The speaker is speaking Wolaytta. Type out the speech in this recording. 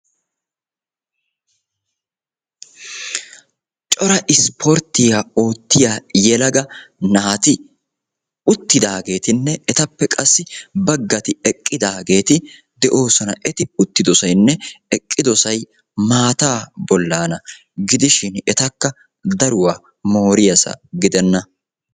Cora isporttiyaa oottiyaa yelaga naati uttidaagetinne qassi etappe baggay eqqidaageti de'oosona. eti uttidosayinne eqqidosay maataa bollana gidoshin etakka daruwaa mooriyaasa gidenna.